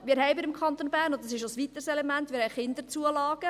Wir haben im Kanton Bern – und das ist ein weiteres Element – Kinderzulagen.